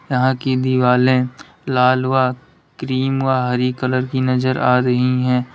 यहां की दिवाले लाल व क्रीम व हरी कलर की नजर आ रही है।